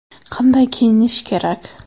Qanday kiyinish kerak?